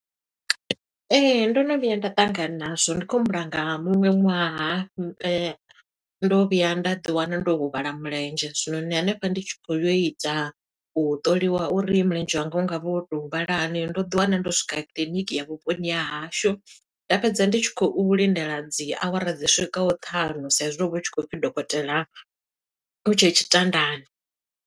Ee, ndo no vhuya nda ṱangana na zwo. Ndi khou humbula nga muṅwe ṅwaha, ndo vhuya nda ḓi wana ndo huvhala mulenzhe. Zwinoni hanefha ndi tshi khou yo ita, u ṱoliwa uri mulenzhe wanga u nga vha wo to huvhala hani, ndo ḓi wana ndo swika kiḽiniki ya vhuponi ha hashu. Nda fhedza ndi tshi khou lindela dzi awara dzi swikaho ṱhanu, sa i zwi ho vha hu tshi khou pfi dokotela u tshe tshitandani.